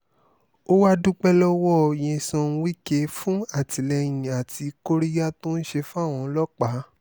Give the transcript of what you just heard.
ó wàá dúpẹ́ lọ́wọ́ nyesom wike fún àtìlẹyìn àti kóríyá tó ń ṣe fáwọn ọlọ́pàá